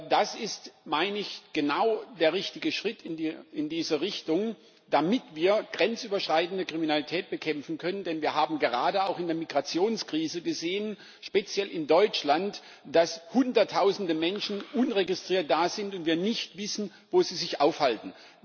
Das ist, meine ich, genau der richtige Schritt in diese Richtung, damit wir grenzüberschreitende Kriminalität bekämpfen können, denn wir haben gerade auch in der Migrationskrise gesehen speziell in Deutschland dass hunderttausende Menschen unregistriert da sind und wir nicht wissen, wo sie sich aufhalten.